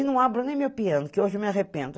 E não abro nem meu piano, que hoje eu me arrependo.